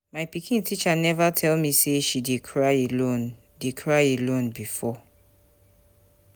My pikin teacher never tell me say she dey cry alone dey cry alone before